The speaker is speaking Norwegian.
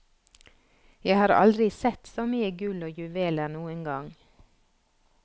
Jeg har aldri sett så mye gull og juveler noen gang.